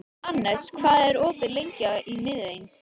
Annes, hvað er opið lengi í Miðeind?